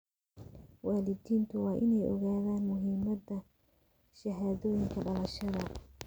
Waalidiintu waa inay ogaadaan muhiimada shahaadooyinka dhalashada.